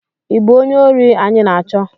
ị bụ onye ori anyị na-achọ?